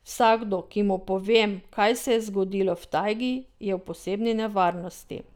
Vsakdo, ki mu povem, kaj se je zgodilo v tajgi, je v posebni nevarnosti.